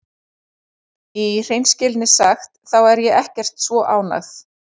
Í hreinskilni sagt þá er ég ekkert svo ánægð.